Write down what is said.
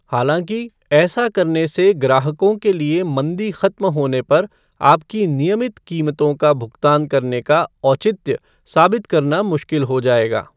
हालाँकि, ऐसा करने से ग्राहकों के लिए मंदी खत्म होने पर आपकी नियमित कीमतों का भुगतान करने का औचित्य साबित करना मुश्किल हो जाएगा।